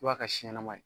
I b'a ka si ɲɛnama ye